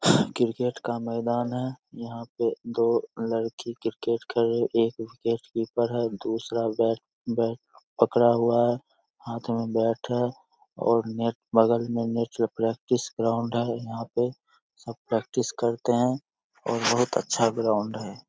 Cricket का मैदान है यहाँ पे दो लड़की क्रिकेट खेल रही एक विकेट कीपर है दूसरा बैट बैट पकड़ा हुआ है हाथ में बैट है और बगल मे नेट प्रैक्टिस ग्राउंड है| यहाँ पे सब प्रैक्टिस करते हैं और बहुत अच्छा ग्राउंड है।